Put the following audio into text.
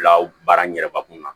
Bila baara n yɛrɛ ka kunna